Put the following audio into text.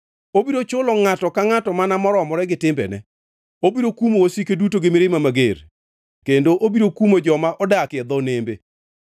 Obiro chulo ngʼato ka ngʼato mana moromore gi timbene, obiro kumo wasike duto gi mirima mager kendo obiro kumo joma odakie dho nembe.